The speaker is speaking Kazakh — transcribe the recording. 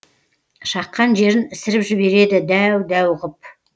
шаққан жерін ісіріп жібереді дәу дәу ғып